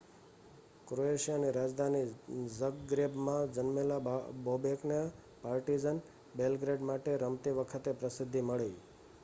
ક્રોએશિયાની રાજધાની ઝગ્રેબમાં જન્મેલા બોબેકને પાર્ટિઝન બેલ્ગ્રેડ માટે રમતી વખતે પ્રસિદ્ધિ મળી